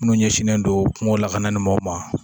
Munnu ɲɛ sinen don kungo lakanaani mɔn u ma.